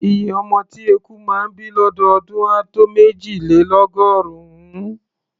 Iye ọmọ tí eku máa ń bí lọ́dọọdún á tó méjìlélọ́gọ́rùn-ún.